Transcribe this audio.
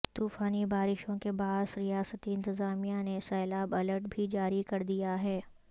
طوفانی بارشوں کے باعث ریاستی انتظامیہ نے سیلاب الرٹ بھی جاری کردیا ہے